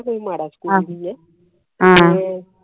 ਕੋਈ ਮਾੜਾ ਸਕੂਲ ਨਹੀਂ ਐ